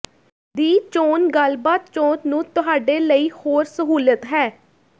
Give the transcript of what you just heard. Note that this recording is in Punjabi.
ਦੀ ਚੋਣ ਗੱਲਬਾਤ ਚੋਣ ਨੂੰ ਤੁਹਾਡੇ ਲਈ ਹੋਰ ਸਹੂਲਤ ਹੈ